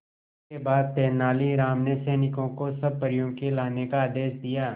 इसके बाद तेलानी राम ने सैनिकों को सब परियों को लाने का आदेश दिया